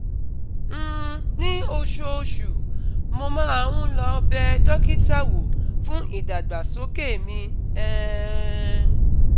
um Ní oṣooṣù, mo máa ń lọ bẹ dókítà wò fún ìdàgbàsókè mi um